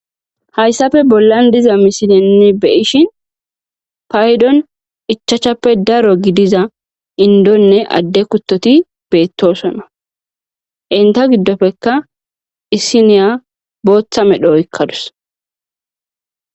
Hayssafe bollan diza misinenni beyishin paydon ichachappe daro gidiza indonne adde kutoti beettosona inta giddofekka isiniya booththa medho oykkadus..